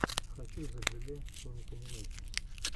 хочу зэблюбле соник энимэйшенс